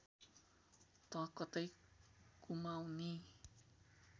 त कतै कुमाउँनी